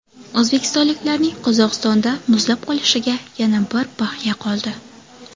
O‘zbekistonliklarning Qozog‘istonda muzlab qolishiga yana bir bahya qoldi .